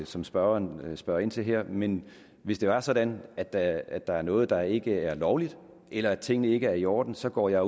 som spørgeren spørger ind til her men hvis det er sådan at der at der er noget der ikke er lovligt eller at tingene ikke er i orden så går jeg